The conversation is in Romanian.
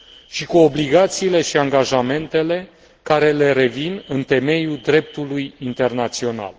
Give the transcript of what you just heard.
și cu obligațiile și angajamentele care le revin în temeiul dreptului internațional.